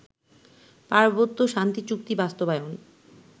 পার্বত্য শান্তিচুক্তি বাস্তবায়ন